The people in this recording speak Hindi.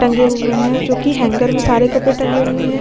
टंगे हुए है जोकि हेंगर में सारे कपड़े टंगे हुए है ।